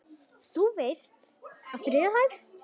Þú veist- á þriðju hæð.